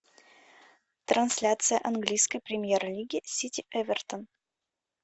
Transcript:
трансляция английской премьер лиги сити эвертон